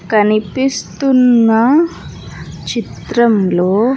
కనిపిస్తున్నా చిత్రంలో--